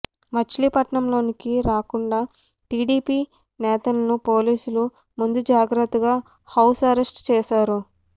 మచిలీపట్నంలోకి రాకుండా టీడీపీ నేతలను పోలీసులు ముందుజాగ్రత్తగా హౌస్ అరెస్ట్ చేశారు